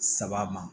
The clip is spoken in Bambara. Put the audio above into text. Saba ma